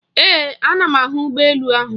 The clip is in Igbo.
Ee, ana m ahụ ụgbọ elu ahụ.